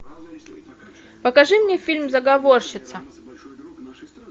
покажи мне фильм заговорщица